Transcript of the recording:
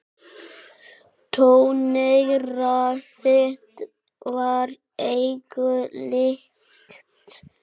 Tóneyra þitt var engu líkt.